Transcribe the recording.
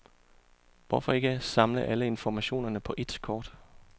Hvorfor ikke samle alle informationerne på ét kort?